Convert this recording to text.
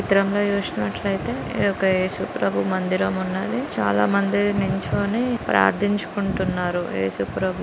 ఈ చిత్రంలో చూసినట్లయితే ఒక ఏసుప్రభు మందిరము ఉన్నది .చాలామంది నిల్చోని ప్రార్థించుకుంటున్నారు ఏసుప్రభు.